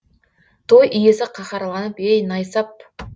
той иесі қаһарланып ей найсап